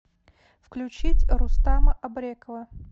включить рустама абрекова